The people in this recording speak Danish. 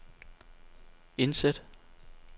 indsæt